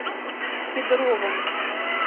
кедровому